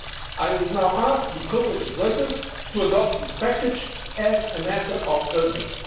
I would now ask the co legislators to adopt this package as a matter of urgency.